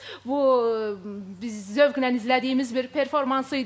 Bu biz zövqlə izlədiyimiz bir performans idi.